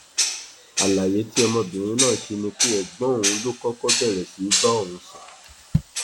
àlàyé tí ọmọbìnrin náà ṣe ni pé ẹgbọn òun ló kọkọ bẹrẹ sí í bá òun sùn